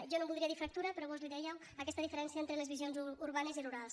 jo no en voldria dir fractura però vós n’hi dèieu aquesta diferència entre les visions urbanes i rurals